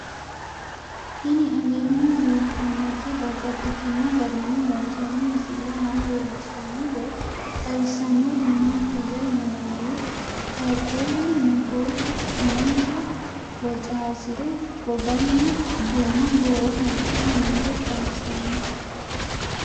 Tinni aleenni leelittannotti babaxxittinno garinni loonsoonni misile maa leelishshanno woy xawisannori maattiya yinummoro qaaqullu muloottu umonsa wocarisire goganna gumma goowaho wodhe noore xawissanno